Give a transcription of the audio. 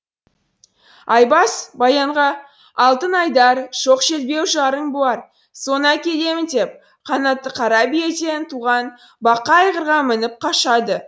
айбас баянға алтын айдар шоқ жарың бар соны әкелемін деп қанатты қара биеден туған бақа айғырға мініп қашады